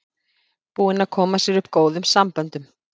Búinn að koma sér upp góðum samböndum.